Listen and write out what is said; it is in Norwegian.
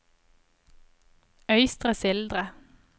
Øystre Slidre